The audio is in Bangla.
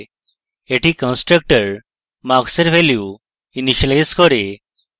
এটি constructor marks এর value ইনিসিয়েলাইজ করে